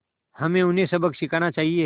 हमें उन्हें सबक सिखाना चाहिए